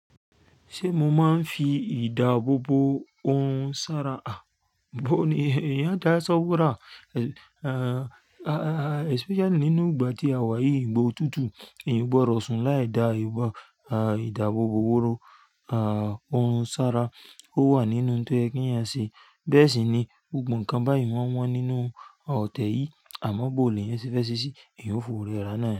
Ṣé mo máa ń fi ìdáàbòbo ohun sára? À bó ni, ìyá dá ìsọwura, especially nínú ìgbà tí a wà yìí ìgbá o tútù, n gbọdọ̀ sùn láì da ìdáàbòbò wóró ohun sára. Ó wà nínú ohun tó yé kí èeyan sé. Bẹ́ẹ̀ sì ni gbogbo nǹkan báyìí màa n wọ́n nínú ọ̀tẹ̀ yìí. Àmọ́ bó ni ẹyàn sé fẹ́ ṣe ṣí, èyán ó fowo rẹ ra náà.